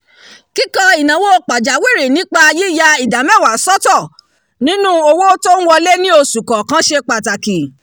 kikọ́ ináwó pàjáwirì nípa yiyà ìdá mẹ́wàá sọtọ nínú owó tó ń wọle ní oṣu kọọkan ṣe pataki